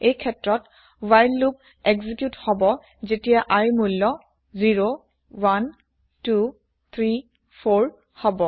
এই ক্ষেত্ৰত while loop execute হব যেতিয়া iৰ মূল্য ০১২৩৪ হব